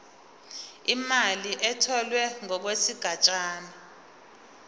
imali etholwe ngokwesigatshana